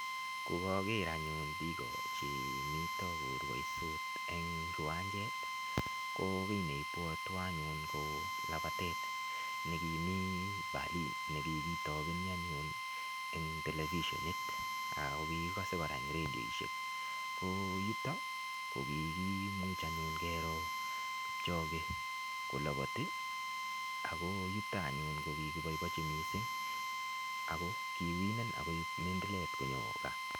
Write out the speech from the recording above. Kogager anyun biik che mito korwoisot eng kiwanjet ko kiy ne ibwotwon anyun ko lambatet nekimi Berlin nekikitobeni anyun eng telefishonit ak kikikose eng redioit. Ko yutok kokimuch anyun keroo kipchoge kolabati ago yuto anyun ko kikiboiboichi mising ago kiwinen ak koip mindilet konyo kaa.